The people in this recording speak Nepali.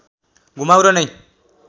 घुमाउरो नै